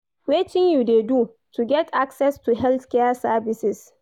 Wetin you dey do to get access to healthcare services?